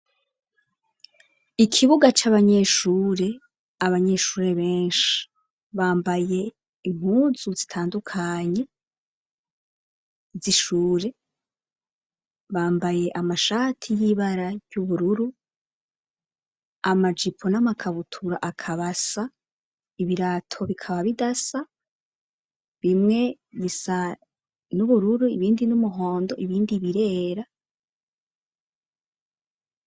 Ikibuga c'abanyeshuri abanyeshure benshi, bambaye impuzu zitandukanye z'ishure, bambaye amashati y'ibara ry'ubururu amajipo n'amakabutura akaba asa ibirato bikaba bidasa bimwe bisa n'ubururu, ibindi n'umuhondo, ibindi birera.